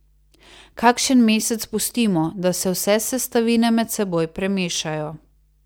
Kakšen mesec pustimo, da se vse sestavine med seboj premešajo.